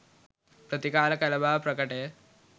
ප්‍රතිකාර කළ බව ප්‍රකටය